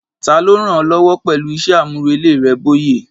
Ta ló ń ràn ọ́ lọ́wọ́ pẹ̀lú iṣẹ́ àmúrelé rẹ, Bóyè?